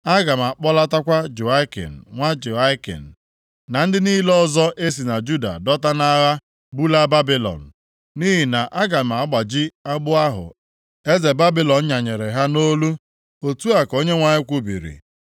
Aga m akpọlatakwa Jehoiakin nwa Jehoiakim, na ndị niile ọzọ e si na Juda dọta nʼagha bulaa Babilọn, nʼihi na aga m agbaji agbụ ahụ eze Babilọn nyanyere ha nʼolu.’ ” Otu a ka Onyenwe anyị kwubiri.